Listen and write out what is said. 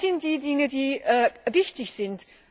Das sind die Dinge, die wichtig sind.